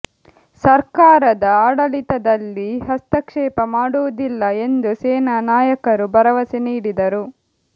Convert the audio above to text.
ಸರ್ಕಾರದ ಆಡಳಿತದಲ್ಲಿ ಹಸ್ತಕ್ಷೇಪ ಮಾಡುವುದಿಲ್ಲ ಎಂದು ಸೇನಾ ನಾಯಕರು ಭರವಸೆ ನೀಡಿದರು